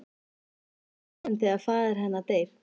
Hún er því farin þegar faðir hennar deyr.